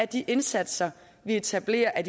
de indsatser vi etablerer er